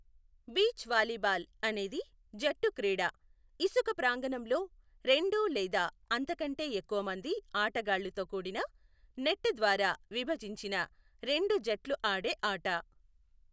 Beach volleyball అనేది జట్టు క్రీడ, ఇసుక ప్రాంగణంలో రెండు లేదా అంతకంటే ఎక్కువ మంది ఆటగాళ్ళుతో కూడిన, నెట్ ద్వారా విభజించిన రెండు జట్లు ఆడే ఆట.